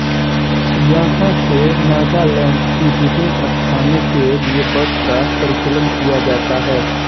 यहां से नागालैंड के विभिन्न स्थानों के लिए बसों का परिचालन किया जाता है